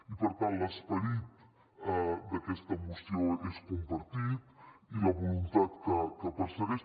i per tant l’esperit d’aquesta moció és compartit i la voluntat que persegueix